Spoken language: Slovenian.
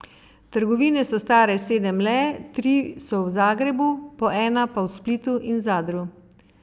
Trgovine so stare sedem le, tri so v Zagrebu, po ena pa v Splitu in Zadru.